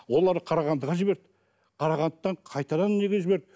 олар қарағандыға жіберді қарағандыдан қайтадан неге жіберді